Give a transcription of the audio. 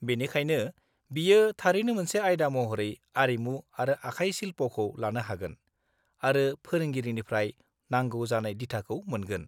बेनिखायनो, बियो थारैनो मोनसे आयदा महरै आरिमु आरो आखाइ शिल्पखौ लानो हागोन आरो फोरोंगिरिनिफ्राय नांगौ जानाय दिथाखौ मोनगोन।